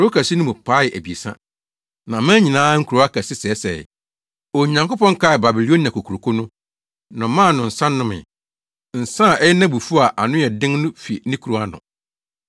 Kurow kɛse no mu paee abiɛsa, na aman nyinaa nkurow akɛse sɛesɛee. Onyankopɔn kaee Babilonia Kokuroko no, na ɔmaa no nsa nomee; nsa a ɛyɛ nʼabufuw a ano yɛ den no fi ne kuruwa ano.